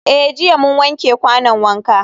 Eh jiya mun wanke kwanon wanka.